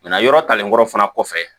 yɔrɔ talen kɔrɔ fana kɔfɛ